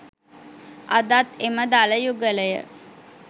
අදත් එම දළ යුගලය